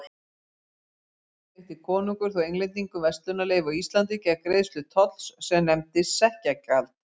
Árið eftir veitti konungur þó Englendingum verslunarleyfi á Íslandi gegn greiðslu tolls sem nefndist sekkjagjald.